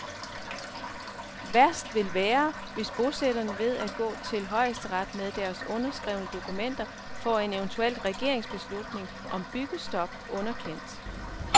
Værst vil være, hvis bosætterne ved at gå til højesteret med deres underskrevne dokumenter får en eventuel regeringsbeslutning om byggestop underkendt.